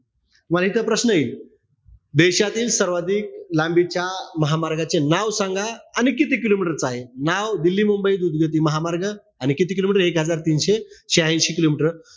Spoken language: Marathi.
इथे प्रश्न येईल. देशातील सर्वाधिक लांबीच्या महामार्गाचे नाव सांगा. आणि किती kilometer चा आहे. नाव दिल्ली-मुंबई द्रुतगती महामार्ग. आणि किती kilometer ए? एक हजार दोनशे शाह्यांशी kilometer,